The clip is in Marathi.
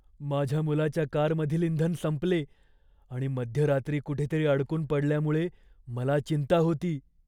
माझ्या मुलाच्या कारमधील इंधन संपले आणि मध्यरात्री कुठेतरी अडकून पडल्यामुळे मला चिंता होती.